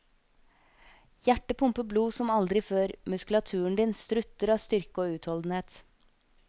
Hjertet pumper blod som aldri før, muskulaturen din strutter av styrke og utholdenhet.